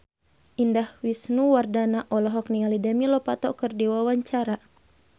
Indah Wisnuwardana olohok ningali Demi Lovato keur diwawancara